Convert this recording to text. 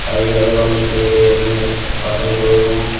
ಹಾಗೆ ಹಲವಾರು ರೀತಿಯಾದ ಎಣ್ಣೆ ಬಾಟಲ್ ಗಳನ್ನು--